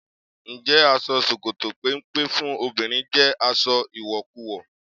Ǹjẹ́ aṣọ ṣòkòtò péńpé fún obìnrin jẹ́ aṣọ ìwọ̀kuwọ̀?